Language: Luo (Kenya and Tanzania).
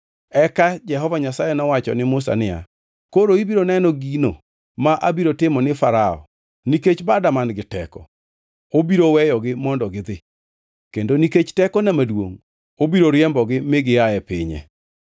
Eka Jehova Nyasaye nowacho ne Musa niya, “Koro ibiro neno gino ma abiro timo ne Farao: Nikech bada man-gi teko, obiro weyogi mondo gidhi; kendo nikech tekona maduongʼ obiro riembogi mi gia e pinye.”